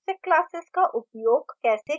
abstract classes का उपयोग कैसे करना है